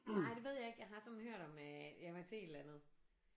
Nej det ved jeg ikke jeg har sådan hørt om øh jeg var til et eller andet